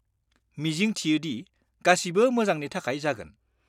मिजिंथियो दि गासिबो मोजांनि थाखाय जागोन।